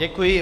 Děkuji.